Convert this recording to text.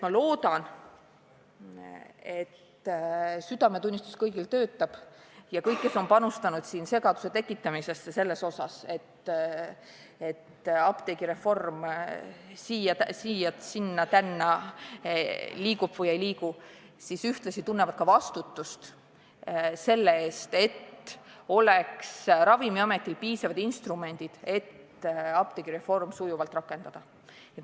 Ma loodan, et südametunnistus kõigil töötab ja kõik, kes on panustanud segaduse tekitamisesse, sellesse, et apteegireform kõigub siia-sinna või ei liigu, tunnevad vastutust selle eest, et Ravimiametil oleks piisavad instrumendid, et apteegireform sujuvalt rakendada.